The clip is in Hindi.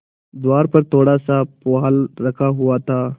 द्वार पर थोड़ासा पुआल रखा हुआ था